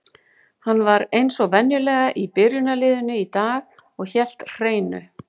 Hann var eins og venjulega í byrjunarliðinu í dag og hélt hreinu.